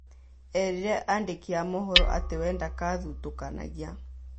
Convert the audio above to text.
Erire andĩki a mohoro atĩ we ndathutũkanagia